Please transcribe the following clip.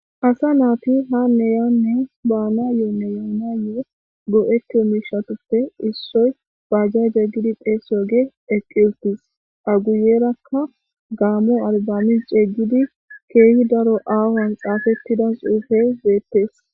Asa naati ha neyanne baana yoo neyanayo goo'eto mishatoppe issoy baajja jeeggidi pheesyooge eqqiltis a guyerakka gaamo albamin ceeygidi keehi daro aahoan xaafettida xuufe zeettees.